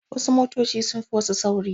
Wasu motoci sun fi wasu sauri.